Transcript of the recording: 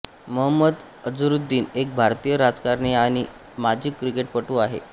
मोहम्मद अझरुद्दीन एक भारतीय राजकारणी आणि माजी क्रिकेटपटू आहे